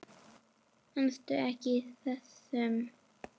Manstu eftir þessum?